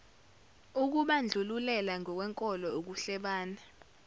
ukubandlulela ngokwenkolo ukuhlebana